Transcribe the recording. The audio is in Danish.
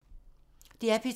DR P2